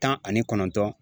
Tan ani kɔnɔntɔn.